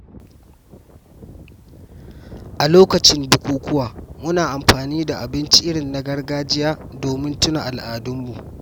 A lokacin bukukuwa, muna amfani da abinci irin na gargajiya domin tuna al'adunmu.